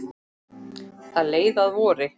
Það leið að vori.